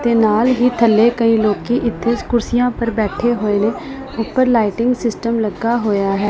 ਤੇ ਨਾਲ ਹੀ ਥੱਲੇ ਕਈ ਲੋਕੀ ਇੱਥੇ ਕੁਰਸੀਆਂ ਪਰ ਬੈਠੇ ਹੋਏ ਨੇ ਉਪਰ ਲਾਈਟਿੰਗ ਸਿਸਟਮ ਲੱਗਾ ਹੋਇਆ ਹੈ।